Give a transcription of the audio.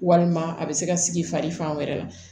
Walima a bɛ se ka sigi fari fan wɛrɛ la